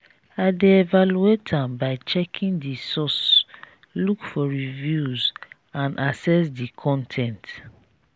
i dey evaluate am by checking di source look for reviews and assess di con ten t.